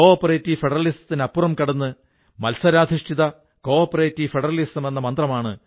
ഈ പരിശ്രമത്തിലൂടെ കർഷകർക്ക് തങ്ങളുടെ പച്ചക്കറികൾക്കും പഴങ്ങൾക്കും നല്ല വില കിട്ടി ആളുകൾക്ക് വാടാത്ത പച്ചക്കറികൾ കിട്ടുവാനും തുടങ്ങി